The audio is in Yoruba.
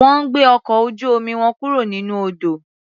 Wọ́n gbé ọkọ̀ ojú-omi wọn kúro nínú odò.